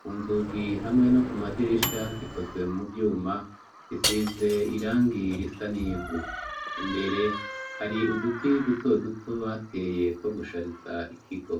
ku nzugi hamwe no ku madirisha zikozwe mu vyuma zisize irangi risa n'ivu, imbere hari uduti duto duto bateye two gushariza ikigo